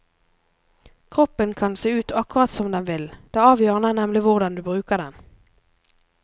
Kroppen kan se ut akkurat som den vil, det avgjørende er nemlig hvordan du bruker den.